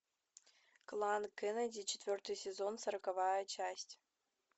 клан кеннеди четвертый сезон сороковая часть